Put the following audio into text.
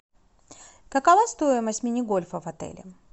какова стоимость мини гольфа в отеле